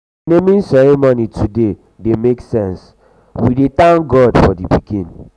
the naming ceremony today dey make sense we dey thank god for the pikin.